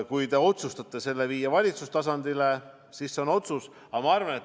Kui te otsustate selle viia valitsustasandile, siis on see teie otsus.